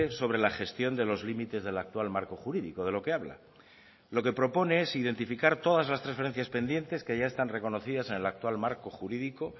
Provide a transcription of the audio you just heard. sobre la gestión de los límites del actual marco jurídico de lo que habla lo que propone es identificar todas las transferencias pendientes que ya están reconocidas en el actual marco jurídico